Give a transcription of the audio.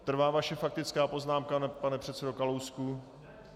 Trvá vaše faktická poznámka, pane předsedo Kalousku?